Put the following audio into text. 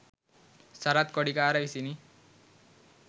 සරත් කොඩිකාර විසිනි.